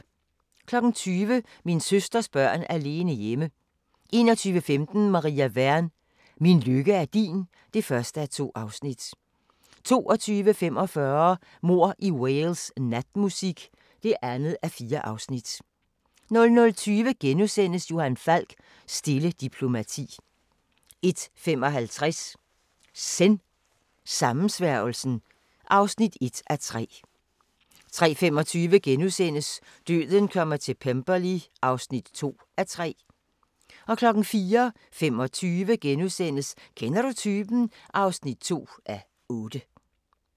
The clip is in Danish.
20:00: Min søsters børn alene hjemme 21:15: Maria Wern: Min lykke er din (1:2) 22:45: Mord i Wales: Natmusik (2:4) 00:20: Johan Falk: Stille diplomati * 01:55: Zen: Sammensværgelsen (1:3) 03:25: Døden kommer til Pemberley (2:3)* 04:25: Kender du typen? (2:8)*